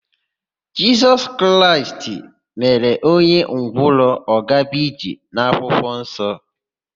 Jisọs Kraịst mere ọnye ngwọrọ ọ gaa ije n'akwụkwọnsọ.